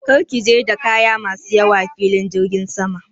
Kar ki je da kaya ma su nauyi filin jirgin sama!